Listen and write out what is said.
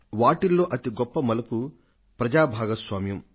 వాటిల్లో అతి గొప్ప మలుపు ప్రజల భాగస్వామ్యం